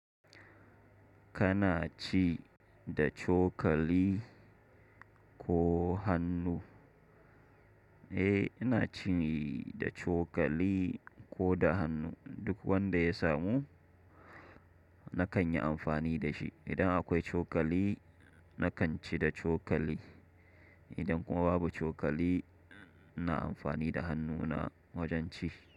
Kana ci da cokali ko hannu? Eh, ina ci da cokali ko da hannu, duk wanda ya samu nakan yi amfani da shi. Idan akwai cokali nakan ci da cokali, idan kuma babu cokali na amfani da hannuna wajen ci.